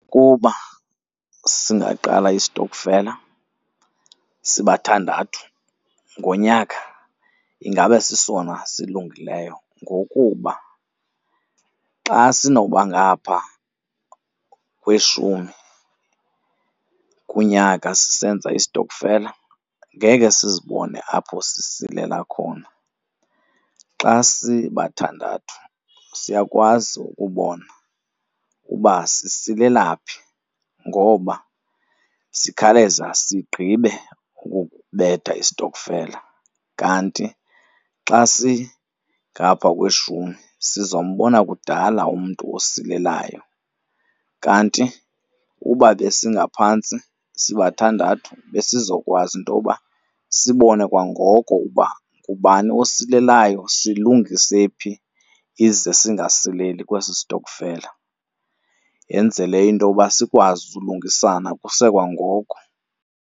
Kuba singaqala istokfela sibathandathu ngonyaka ingabe sisona silungileyo ngokuba xa sinokuba ngapha kweshumi kunyaka sisenza isitokfela, ngeke sizibone apho sisilela khona. Xa sibathandathu siyakwazi ukubona uba sisilela phi ngoba sikhawuleza sigqibe ukubetha isitokfela kanti xa singapha kweshumi sizombona kudala umntu osilelayo. Kanti uba besingaphantsi, sibathandathu besizokwazi intoba sibone kwangoko uba ngubani osilelayo, silungise phi ize singasileli kwesi sitokfela. Yenzele intoba sikwazi ulungisana kusekwangoko.